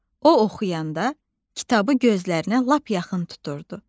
O oxuyanda kitabı gözlərinə lap yaxın tuturdu.